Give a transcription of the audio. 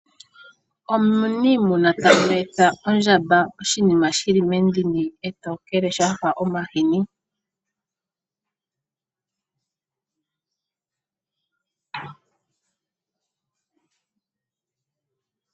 Omuniimuna ta nwetha ondjamba oshinima shili mendini etokele shafa omahini.